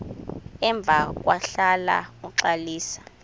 emva kwahlala uxalisa